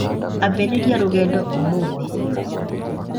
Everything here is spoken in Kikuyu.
Ambĩrĩria rũgendo ũmũthĩ.